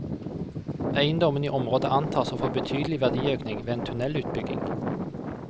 Eiendommene i området antas å få betydelig verdiøkning ved en tunnelutbygging.